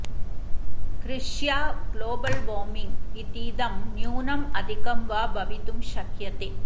कृष्या global warming इतीदं न्यूनम् अधिकं वा भवितुं शक्यते